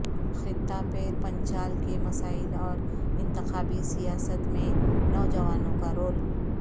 خطہ پیر پنچال کے مسائل اور انتخابی سیاست میں نوجوانوں کا رول